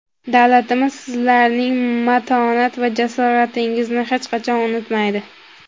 davlatimiz sizlarning matonat va jasoratingizni hech qachon unutmaydi.